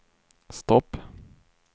stopp